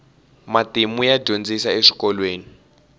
matimu ya dyondzisiwa eswikolweni